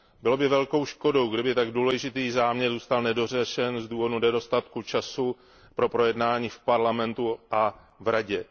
Bylo by velkou škodou, kdyby tak důležitý záměr zůstal nedořešen z důvodu nedostatku času pro projednání v Parlamentu a v Radě.